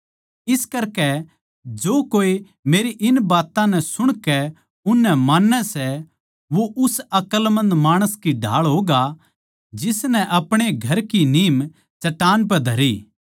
इस करकै जो कोए मेरी इन बात्तां नै सुणकै उननै मान्नै सै वो उस अकलमंद माणस की ढाळ होगा जिसनै अपणे घर की नीम चट्टान पै धरी